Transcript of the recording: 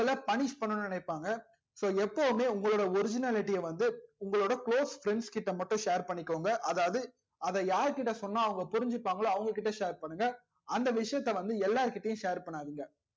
உங்கள punish பண்ணனும்னு நினைப்பாங்க so எப்போமே உங்கலோட originality வந்து உங்களோட close friends கிட்ட மட்டும் share பண்ணிகோங்க அதாவது அதா யார் கிட்ட சொன்னா புரிஞ்சிப்பங்கலோ அவங்க கிட்ட share பண்ணுங்க அந்த விஷயத்த வந்து எல்லார் கிட்டையும் share பண்ணாதிங்க